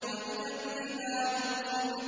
وَإِذَا الْجِبَالُ نُسِفَتْ